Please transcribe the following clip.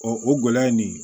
o gɛlɛya ye nin ye